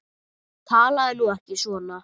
Talaðu nú ekki svona!